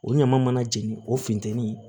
O ɲama mana jeni o funtɛni